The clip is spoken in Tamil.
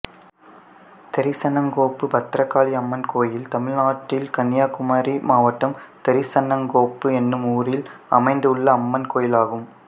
தெரிசனங்கோப்பு பத்ரகாளியம்மன் கோயில் தமிழ்நாட்டில் கன்னியாகுமரி மாவட்டம் தெரிசனங்கோப்பு என்னும் ஊரில் அமைந்துள்ள அம்மன் கோயிலாகும்